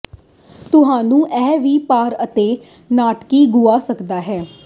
ਤੁਹਾਨੂੰ ਇਹ ਵੀ ਭਾਰ ਅਤੇ ਨਾਟਕੀ ਗੁਆ ਸਕਦਾ ਹੈ